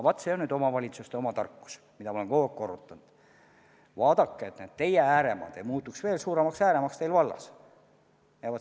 Vaat see on nüüd omavalitsuste oma tarkus, mida ma olen kogu aeg korrutanud: tuleb vaadata, et teie valla ääremaad ei muutuks veel suuremateks ääremaadeks.